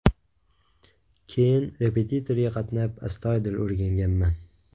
Keyin repetitorga qatnab, astoydil o‘rganganman.